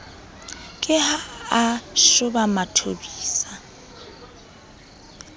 ke ha a shoba mathobisa